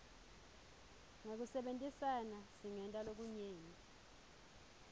ngekusebentisana singenta lokunyenti